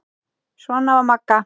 Svona var Magga.